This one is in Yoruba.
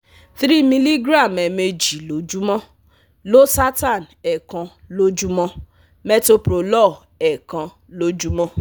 three miligram ẹ̀ẹ̀mejì lojumo, losartan ẹ̀ẹ̀kan lójúmọ́, metoprolol ẹ̀ẹ̀kan lójúmọ́.